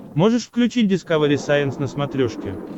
можешь включить дискавери сайенс на смотрешке